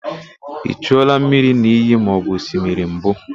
I chuola mmiri n'iyi maọbụ osimiri mbụ?